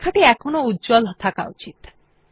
লেখাটি এখনও উজ্জ্বল থাকা উচিত